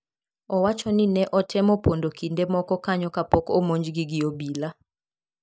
Owacho ni ne otemo pondo kinde moko kanyo kapok omonjgi gi obila.